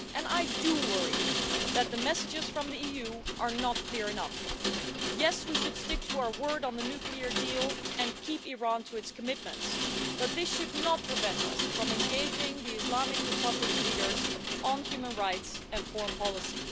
I do worry that the messages from the EU are not clear enough. Yes, we should stick to our word on the nuclear deal and keep Iran to its commitments, but this should not prevent us from engaging the Islamic Republic's leaders on human rights and foreign policy.